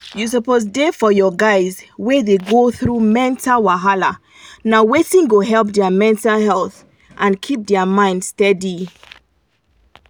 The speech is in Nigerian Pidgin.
you suppose da for your guys wey dey go through mental wahala na wetin go help their mental health and keep their mind steady.